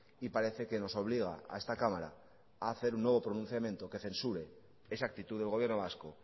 y parece que nos obliga a esta cámara a hacer un nuevo pronunciamiento que censure esa actitud del gobierno vasco